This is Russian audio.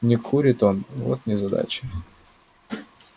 не курит он вот незадача